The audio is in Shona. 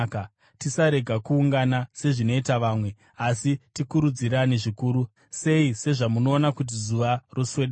Tisarega kuungana sezvinoita vamwe, asi tikurudzirane, zvikuru sei sezvamunoona kuti Zuva roswedera.